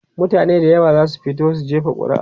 mutane da yawa zasu fito jefa ƙuri'ar su